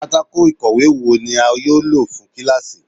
Pátáko ikòwe wo ni a yoo lo fun kilasi?